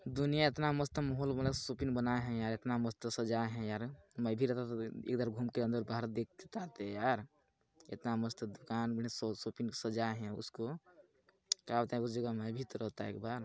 दुनिया इतना मस्त मौहोल बड़ा सुकिन बनाये है यार इतना मस्त सजाए है यार में भी रहता तो इधर घुम के अंदर-बाहर देख पाते यार इतना मस्त दुकान बढ़िया शो शॉपिंग सजाय है उसको क्या बोलते उस जगह में भी तो रहता एक बार--